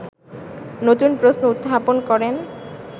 নতুন প্রশ্ন উত্থাপন করেন